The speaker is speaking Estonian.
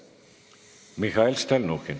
Mihhail Stalnuhhin.